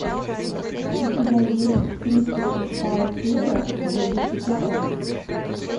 у тебя есть тридцать шестая серия зыбучий песок